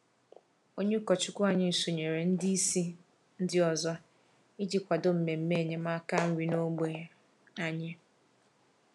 Onye ụkọchukwu anyị sonyeere ndị isi ndị ọzọ iji kwado mmemme enyemaka nri n’ógbè anyị.